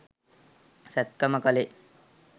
සැත්කම කළේ